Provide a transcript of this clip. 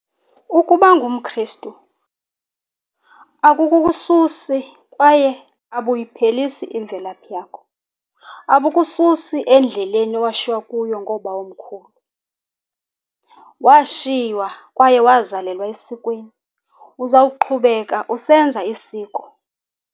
Ukuba ngumKrestu akubuwususi kwaye abuyiphelisi imvelaphi yakho. Abukususi endleleni owashiywa kuyo ngoobawomkhulu. Washiywa kwaye wazalelwa esikweni. Uzawuqhubeka usenza isiko.